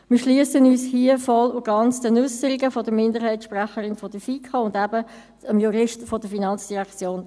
Wir schliessen uns hier voll und ganz den Äusserungen der Minderheitssprecherin der FiKo und eben des Juristen der FIN an.